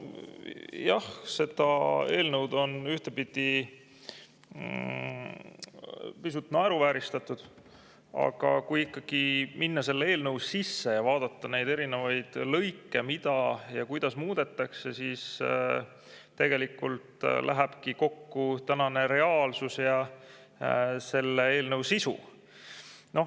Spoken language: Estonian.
No jah, seda eelnõu on ühtpidi pisut naeruvääristatud, aga kui ikkagi minna selle eelnõu sisse ja vaadata neid erinevaid lõike, mida ja kuidas muudetakse, siis tegelikult lähebki kokku tänane reaalsus ja selle eelnõu sisu.